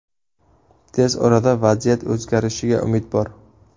Tez orada vaziyat o‘zgarishiga umid bor.